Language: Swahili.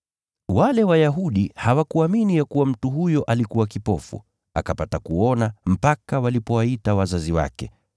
Wale Wayahudi hawakuamini ya kuwa mtu huyo alikuwa kipofu, akapata kuona, mpaka walipowaita wazazi wake.